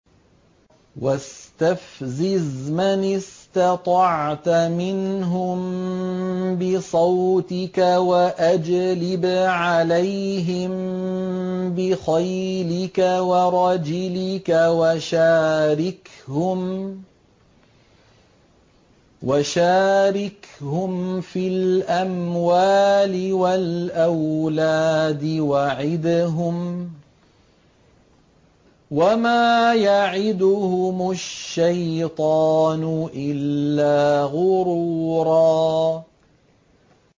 وَاسْتَفْزِزْ مَنِ اسْتَطَعْتَ مِنْهُم بِصَوْتِكَ وَأَجْلِبْ عَلَيْهِم بِخَيْلِكَ وَرَجِلِكَ وَشَارِكْهُمْ فِي الْأَمْوَالِ وَالْأَوْلَادِ وَعِدْهُمْ ۚ وَمَا يَعِدُهُمُ الشَّيْطَانُ إِلَّا غُرُورًا